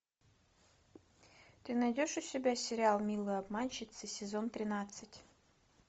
ты найдешь у себя сериал милые обманщицы сезон тринадцать